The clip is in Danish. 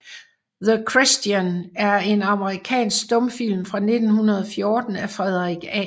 The Christian er en amerikansk stumfilm fra 1914 af Frederick A